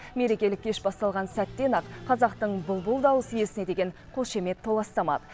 мерекелік кеш басталған сәттен ақ қазақтың бұлбұл дауыс иесіне деген қошемет толастамады